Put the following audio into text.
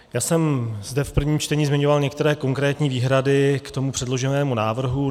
Já jsem zde v prvním čtení zmiňoval některé konkrétní výhrady k tomu předloženému návrhu.